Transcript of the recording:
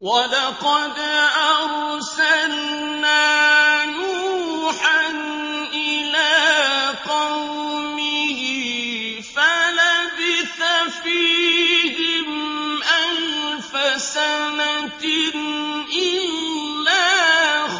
وَلَقَدْ أَرْسَلْنَا نُوحًا إِلَىٰ قَوْمِهِ فَلَبِثَ فِيهِمْ أَلْفَ سَنَةٍ إِلَّا